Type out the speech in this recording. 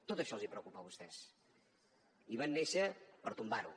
tot això els preocupa a vostès i van néixer per tombar ho